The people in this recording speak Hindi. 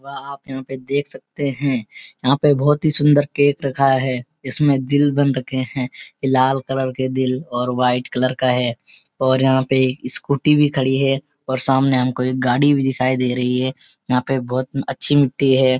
वाह! आप यहाँ पे देख सकते हैं यहाँ पे बहोत ही सुन्‍दर केक रखा है इसमें दिल बन रखे हैं ये लाल कलर के दिल और व्‍हाईट कलर का है और यहाँ पे स्‍कूटी भी खड़ी है और सामने हमको एक गाड़ी भी दिखाई दे रही है यहाँ पे बहोत अच्‍छी मिट्टी है।